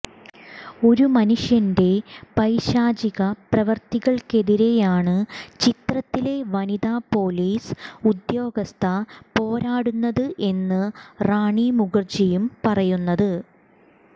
ഒരു മനുഷ്യന്റെ പൈശാചിക പ്രവര്ത്തികള്ക്കെതിരെയാണ് ചിത്രത്തിലെ വനിതാ പൊലീസ് ഉദ്യോഗസ്ഥ പോരാടുന്നത് എന്ന് റാണി മുഖര്ജിയും പറയുന്നത്